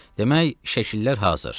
Demək, şəkillər hazır.